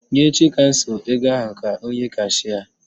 Nye Chikamso ego ahụ ka o nye kashịa